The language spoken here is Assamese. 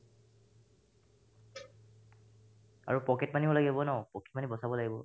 আৰু pocket money ও লাগিব ন pocket money বচাব লাগিব ।